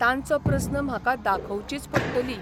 तांचो प्रस्न म्हाका दाखोवचीच पडटली.